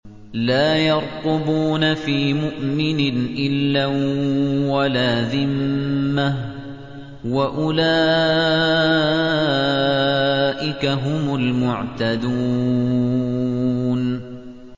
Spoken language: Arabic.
لَا يَرْقُبُونَ فِي مُؤْمِنٍ إِلًّا وَلَا ذِمَّةً ۚ وَأُولَٰئِكَ هُمُ الْمُعْتَدُونَ